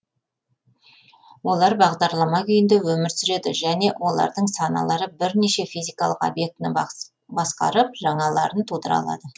олар бағдарлама күйінде өмір сүреді және олардың саналары бірнеше физикалық объектіні басқарып жаңаларын тудыра алады